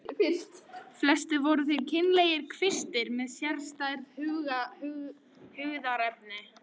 Flestir voru þeir kynlegir kvistir með sérstæð hugðarefni.